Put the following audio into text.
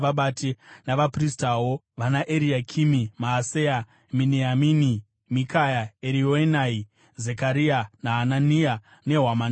navapristawo, vanaEriakimi, Maaseya, Miniamini, Mikaya, Erioenai, Zekaria naHanania, nehwamanda dzavo,